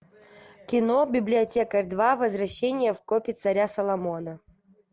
кино библиотекарь два возвращение в копи царя соломона